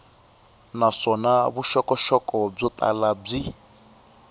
naswona vuxokoxoko byo tala byi